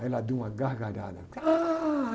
Aí ela deu uma gargalhada. Ah